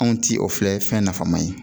Anw ti o filɛ fɛn nafama ye